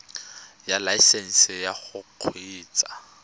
ya laesesnse ya go kgweetsa